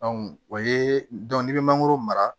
o ye bɛ mangoro mara